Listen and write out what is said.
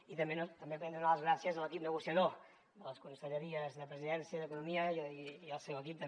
i també volem donar les gràcies a l’equip negociador de les conselleries de presidència i d’economia i al seu equip també